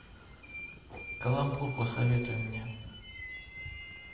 каламбур посоветуй мне